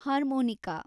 harmonica